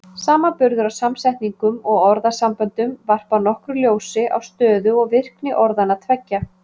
Samanburður á samsetningum og orðasamböndum varpar nokkru ljósi á stöðu og virkni orðanna tveggja.